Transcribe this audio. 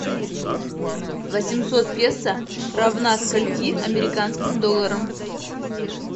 восемьсот песо равна скольки американским долларам